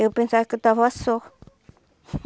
Eu pensava que eu estava só.